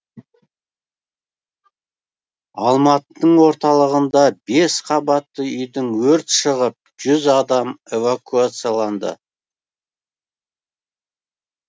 алматының орталығында бес қабатты үйден өрт шығып жүз адам эвакуацияланды